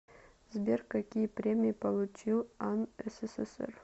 сбер какие премии получил ан ссср